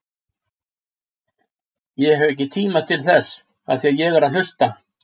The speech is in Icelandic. Ég hef ekki tíma til þess af því ég er að hlusta.